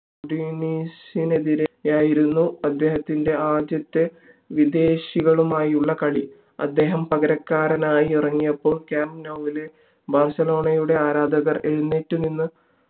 ഉദീസിനെതിരെയായിരുന്നു അദ്ദേഹത്തിന്റെ ആദ്യത്തെ വിദേശികളുമായുള്ള കളി അദ്ദേഹം പകരക്കാരനായി ഇറങ്ങിയപ്പോൾ camp new ലെ ബാഴ്‌സലോണയുടെ ആരാധകർ എഴുനേറ്റു നിന്ന്